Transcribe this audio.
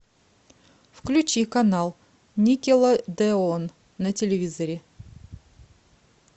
включи канал никелодеон на телевизоре